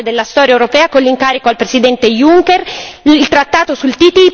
Oggi si è aperta una nuova fase della storia europea con l'incarico al Presidente Juncker.